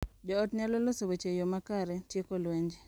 Jo ot nyalo loso weche e yoo makare, tieko lwenje,